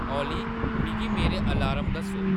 ओली मिगी मेरे अलार्म दस्सो